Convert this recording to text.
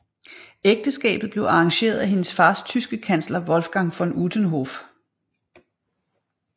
Ægteskabet blev arrangeret af hendes fars tyske kansler Wolfgang von Utenhof